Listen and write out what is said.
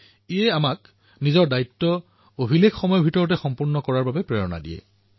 ইয়াৰ দ্বাৰা আমি নিজৰ দায়িত্বক ৰেকৰ্ড সময়ৰ ভিতৰত সম্পূৰ্ণ কৰাৰ বাবে প্ৰেৰণা পাঁও